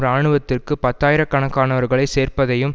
இராணுவத்திற்கு பத்தாயிரக்கணக்கானவர்களை சேர்ப்பதையும்